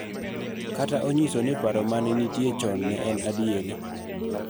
Kata onyiso ni paro ma ne nitie chon en adier.